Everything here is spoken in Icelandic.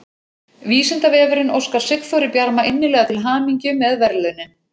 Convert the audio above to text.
Vísindavefurinn óskar Sigþóri Bjarma innilega til hamingju með verðlaunin!